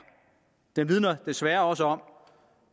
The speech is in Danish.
den vidner desværre også om